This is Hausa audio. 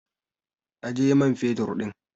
Aje man fetur ɗin!